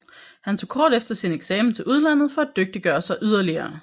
Han tog kort efter sin eksamen til udlandet for at dygtiggøre sig yderligere